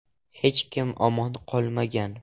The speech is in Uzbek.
Hech kim omon qolmagan.